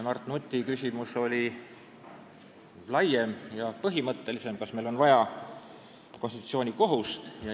Mart Nuti küsimus oli laiem ja põhimõttelisem: kas meil on vaja konstitutsioonikohust.